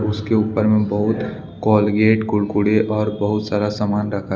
उसके ऊपर में बहुत कोलगेट कुरकुरे और बहुत सारा सामान रखा--